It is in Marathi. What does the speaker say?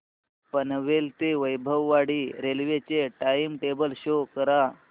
पनवेल ते वैभववाडी रेल्वे चे टाइम टेबल शो करा